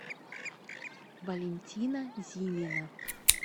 валентина зимина